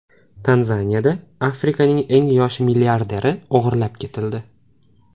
Tanzaniyada Afrikaning eng yosh milliarderi o‘g‘irlab ketildi.